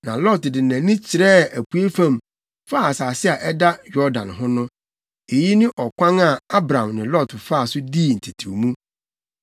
Na Lot de nʼani kyerɛɛ apuei fam, faa asase a ɛda Yordan ho no. Eyi ne ɔkwan a Abram ne Lot faa so dii ntetewmu no.